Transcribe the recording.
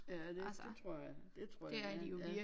Ja det dét tror jeg dét tror jeg ja ja